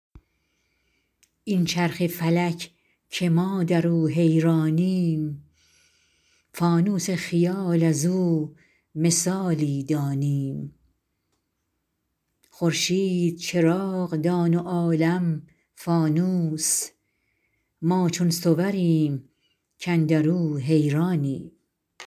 این چرخ فلک که ما در او حیرانیم فانوس خیال از او مثالی دانیم خورشید چراغ دان و عالم فانوس ما چون صوریم کاندر او حیرانیم